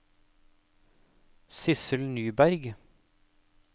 Sidsel Nyberg